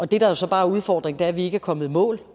det der jo så bare er udfordringen er at vi ikke er kommet i mål